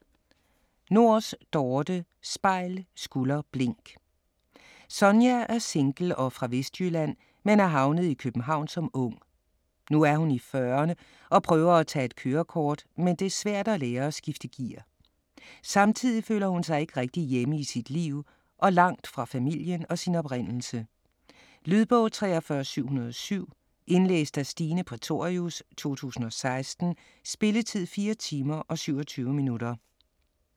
Nors, Dorthe: Spejl, skulder, blink Sonja er single og fra Vestjylland men er havnet i København som ung. Nu er hun i fyrrerne og prøver at tage et kørekort, men det er svært at lære at skifte gear. Samtidig føler hun sig ikke rigtig hjemme i sit liv og langt fra familien og sin oprindelse. Lydbog 43707 Indlæst af Stine Prætorius, 2016. Spilletid: 4 timer, 27 minutter.